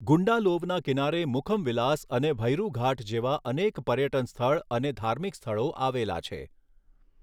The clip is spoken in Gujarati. ગુંડાલોવના કિનારે મુખમ વિલાસ અને ભૈરુ ઘાટ જેવા અનેક પર્યટન સ્થળ અને ધાર્મિક સ્થળો આવેલા છે.